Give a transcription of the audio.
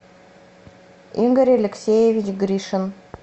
игорь алексеевич гришин